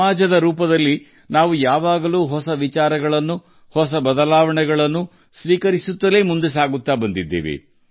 ಸಮಾಜವಾಗಿ ನಾವು ಯಾವಾಗಲೂ ಹೊಸ ಆಲೋಚನೆಗಳನ್ನು ಹೊಸ ಬದಲಾವಣೆಗಳನ್ನು ಸ್ವೀಕರಿಸುವ ಮೂಲಕ ಮುಂದೆ ಸಾಗಿದ್ದೇವೆ